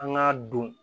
An k'a don